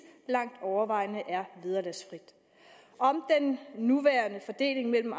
langt overvejende er vederlagsfri om den nuværende fordeling mellem